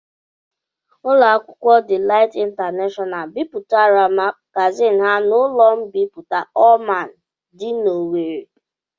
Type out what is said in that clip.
Ụlọ akwụkwọ Delight International bipụtara magazin ha n'ụlọ mbipụta Allman dị n'Owerri.